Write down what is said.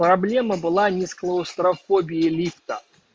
проблема была не с клаустрофобией лифта